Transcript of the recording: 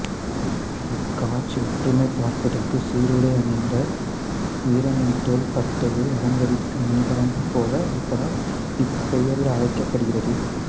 இக்காட்சி ஒற்றுமை பார்ப்பதற்கு சீருடை அணிந்த வீரனின் தோள்பட்டையை அலங்கரிக்கும் அணிகலன் போல இருப்பதால் இப்பெயரில் அழைக்கப்படுகிறது